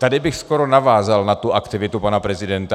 Tady bych skoro navázal na tu aktivitu pana prezidenta.